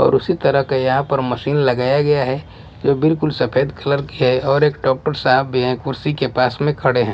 और उसी तरह का यहाँ पर मशीन लगाया गया है जो बिल्कुल सफेद कलर की है और एक डॉक्टर साहब भी हैं कुर्सी के पास में खड़े हैं।